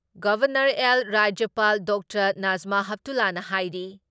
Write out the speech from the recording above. governor ꯑꯦꯜ ꯔꯥꯖ꯭ꯌꯄꯥꯜ doctor Najma ꯍꯦꯞꯇꯨꯂꯥꯅ ꯍꯥꯏꯔꯤ